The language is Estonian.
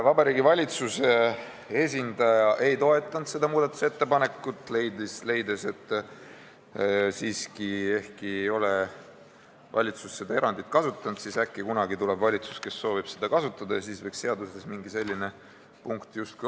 Vabariigi Valitsuse esindaja ei toetanud seda muudatusettepanekut, leides, et kuigi valitsus ei ole seda erandit kasutanud, tuleb äkki kunagi valitsus, kes soovib seda kasutada, ja siis võiks seaduses mingi selline punkt olla.